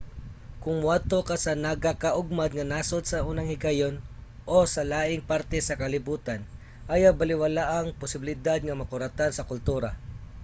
kung moadto ka sa nagakaugmad nga nasod sa unang higayon - o sa laing parte sa kalibutan ayaw balewalaa ang posibilidad nga makuratan sa kultura